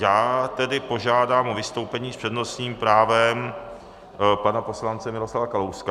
Já tedy požádám o vystoupení s přednostním právem pana poslance Miroslava Kalouska.